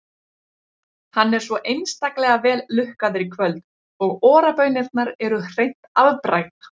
Hann er svo einstaklega vel lukkaður í kvöld og Ora-baunirnar eru hreint afbragð.